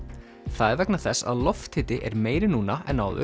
það er vegna þess að lofthiti er meiri núna en áður